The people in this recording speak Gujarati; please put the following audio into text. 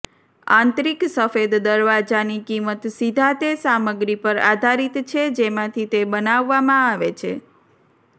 આંતરિક સફેદ દરવાજાની કિંમત સીધા તે સામગ્રી પર આધારિત છે જેમાંથી તે બનાવવામાં આવે છે